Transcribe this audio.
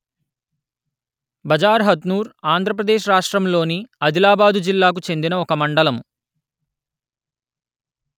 బజార్‌హథ్నూర్‌ ఆంధ్ర ప్రదేశ్ రాష్ట్రములోని అదిలాబాదు జిల్లాకు చెందిన ఒక మండలము